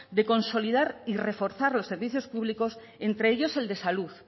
de consolidar y reforzar los servicios públicos entre ellos el de salud